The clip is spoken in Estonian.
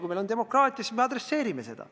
Kui meil on demokraatia, siis me adresseerime seda.